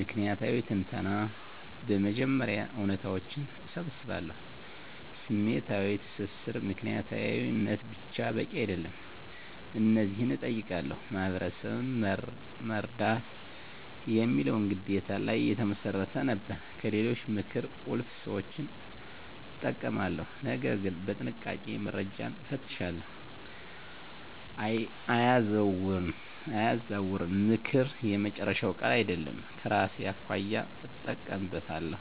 ምክንያታዊ ትንተና በመጀመሪያ እውነታዎችን እሰባስባለሁ። #ስሜታዊ ትስስር ምክንያታዊነት ብቻ በቂ አይደለም። እነዚህን እጠይቃለሁ፦ "ማህበረሰብን መርዳት" የሚለው ግዴታ ላይ የተመሰረተ ነበር። #ከሌሎች ምክር ቁልፍ ሰዎችን እጠቀማለሁ፣ ነገር ግን በጥንቃቄ፦ - መረጃን እፈትሻለሁ፣ አያዛውርም፦ ምክር የመጨረሻ ቃል አይደለም፤ ከራሴ አኳያ እጠቀምበታለሁ።